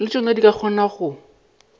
le tšona di kgona go